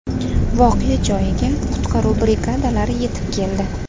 Voqea joyiga qutqaruv brigadalari yetib keldi.